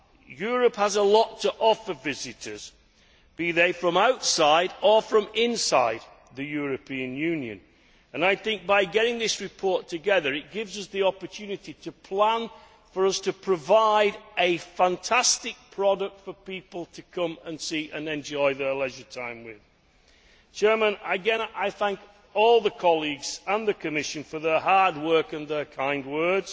Europe has a lot to offer visitors, be they from outside or from inside the European Union. I think that, by getting this report together, it gives us the opportunity to plan to provide a fantastic product for people to come and see and enjoy during their leisure time. I thank all the colleagues and the Commission for their hard work and their kind words.